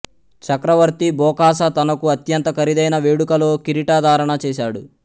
చక్రవర్తి Bokassa తనకు అత్యంత ఖరీదైన వేడుకలో కిరీటధారణ చేసాడు